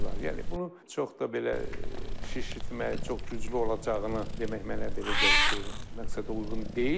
Yəni bunu çox da belə şişirtmək, çox güclü olacağını demək mənə belə gəlir ki, məqsədəuyğun deyil.